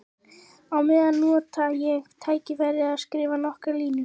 Á meðan nota ég tækifærið og skrifa nokkrar línur.